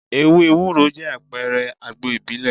Ewé Ewúro jẹ́ àpẹrẹ àgbo ìbílẹ̀.